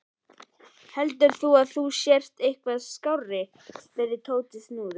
Heldur þú að þú sért eitthvað skárri? spurði Tóti snúðugt.